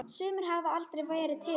Sumir hafa aldrei verið til.